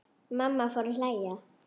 Mamma fór að hlæja.